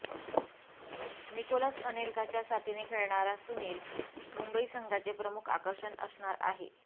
Nicolas अनेलकाच्या साथीने खेळणारा सुनील मुंबई संघाचे प्रमुख आकर्षण असणार आहे